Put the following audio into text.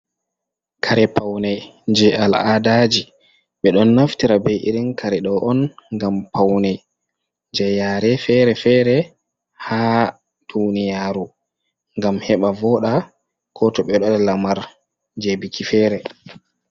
Kare paune je al’adaji ɓe ɗon naftira bei irin kareɗo on ngam paunei je yare fere-fere ha duniyaru gam heɓa voɗa ko to ɓeɗo waɗa lamar je biki fere.